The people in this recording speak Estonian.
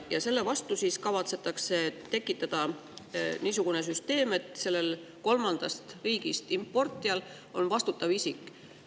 Ja selle vastu siis kavatsetakse tekitada niisugune süsteem, et kolmandast riigist importijal on vastutav isik.